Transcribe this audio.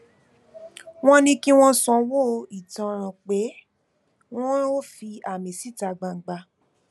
wọn ní kí wọn sanwó ìtanràn pé wọn ò fi àmì síta gbangba